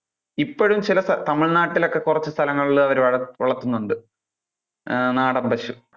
ഇപ്പോഴും ചില ത~തമിഴ് നാട്ടിൽ ഒക്കെ കുറച്ചു സ്ഥലങ്ങളിൽ അവര് വളർത്തുന്നുണ്ട്. ആഹ് നാടൻ പശു.